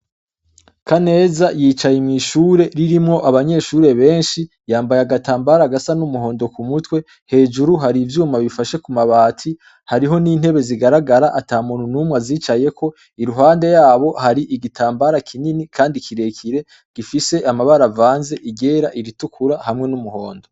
Kaneza yicaye mw'ishure ririmwo abanyeshure benshi. Yambaye agatambara gasa n'umuhondo ku mutwe, hejuru hari ivyuma bifashe ku mabati, hariho n'intebe zigaragara ata muntu n'umwe azicayeko. Iruhande yabo hari igitambara kinini kandi kirekire, gifise amabara avanze, iryera, iritukura hamwe n'umuhondo.